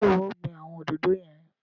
Ṣe iwọ o gbìn awọn òdodo yẹn?